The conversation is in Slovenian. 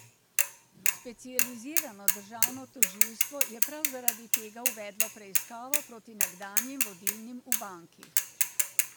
Specializirano državno tožilstvo je prav zaradi tega uvedlo preiskavo proti nekdanjim vodilnim v banki.